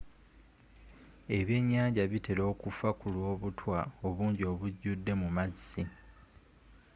ebyennyanja bitera okufa kulwa obutwa obungi obujjude mu maazi